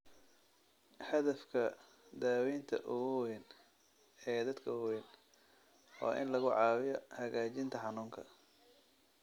Hadafka daaweynta ugu weyn ee dadka waaweyn waa in lagu caawiyo hagaajinta xanuunka.